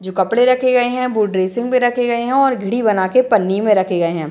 जो कपड़े रखे गए हैं वो ड्रेसिंग में रखे गए हैं और घड़ी बना के पन्नी में रखे गए हैं।